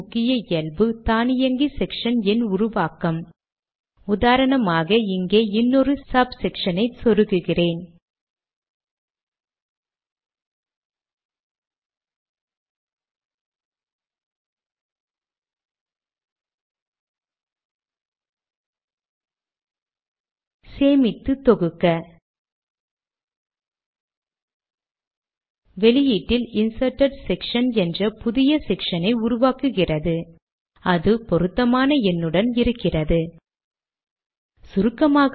முன்பு இரட்டை ஸ்லாஷ் கொண்டு லேடக் இடம் நாம் வரியை பிரிக்கச்சொன்னோம்